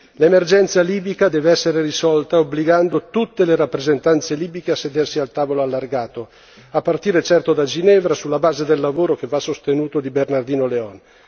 L'emergenza libica deve essere risolta obbligando tutte le rappresentanze libiche a sedersi al tavolo allargato a partire, certo, da Ginevra sulla base del lavoro che va sostenuto di Bernardino León.